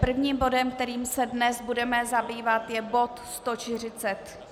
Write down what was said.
Prvním bodem, kterým se dnes budeme zabývat, je bod